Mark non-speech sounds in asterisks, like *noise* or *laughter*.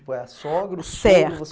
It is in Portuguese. *unintelligible* É a sogra, o sogro *unintelligible*